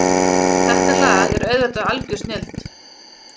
Þetta lag er auðvitað algjör snilld